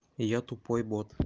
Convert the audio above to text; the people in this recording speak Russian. я тупой бот